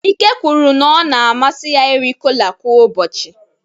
Ike kwuru na ọ na-amasị ya iri kola kwa ụbọchị.